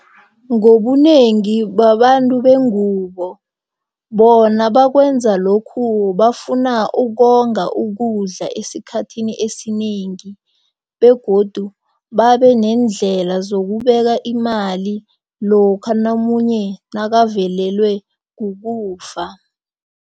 Ngobunengi babantu bengubo. Bona bakwenza lokhu bafuna ukonga ukudla esikhathini esinengi begodu babeneendlela zokubeka imali lokha omunye nakavelelwe kukufa.